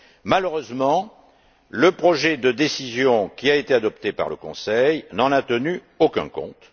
Malheureusement, le projet de décision qui a été adopté par le Conseil n'en a tenu aucun compte.